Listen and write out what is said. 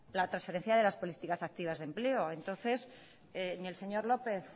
la transferencia de las políticas activas de empleo entonces ni el señor lópez